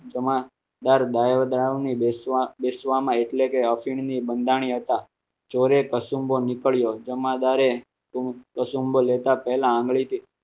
જમાદાર ઓની બેસવા બેસવામાં એટલે કે અફીણની બંધાણી હતા ચોરે કસુંબો નીકળ્યો જમાદાર એ કસુંબલ લેતા પહેલા આંગળીથી